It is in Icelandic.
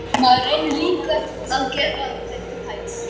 Maður reynir líka að gera þeim til hæfis.